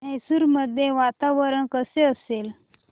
मैसूर मध्ये वातावरण कसे असेल